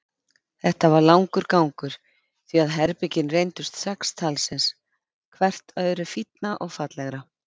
Þetta var langur gangur, því að herbergin reyndust sex talsins, hvert öðru fínna og fallegra.